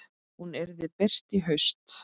Hún yrði birt í haust.